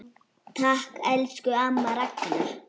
Takk, elsku amma Ragna.